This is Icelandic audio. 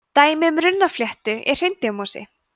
dæmi um runnafléttu er hreindýramosi